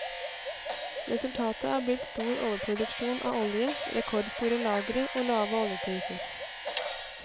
Resultatet er blitt stor overproduksjon av olje, rekordstore lagre og lave oljepriser.